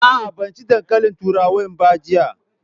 A'a, ban ci dankalin turawan ba jiya.